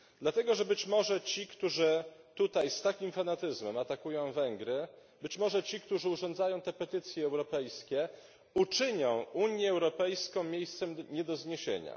Dlatego, że być może ci, którzy tutaj z takim fanatyzmem atakują Węgry, być może ci, którzy urządzają te petycje europejskie, uczynią Unię Europejską miejscem nie do zniesienia.